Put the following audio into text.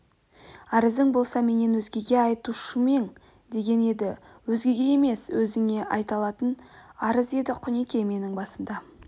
арызың болса менен өзгеге айтпаушымең деген еді өзгеге емес өзіңе айтылатын арыз еді құнеке менің басымда